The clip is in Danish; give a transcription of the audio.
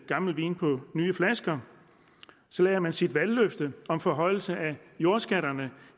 gammel vin på nye flasker så lader man sit valgløfte om forhøjelse af jordskatterne